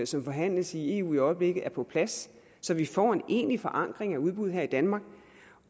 som forhandles i eu i øjeblikket er på plads så vi får en egentlig forankring af udbud her i danmark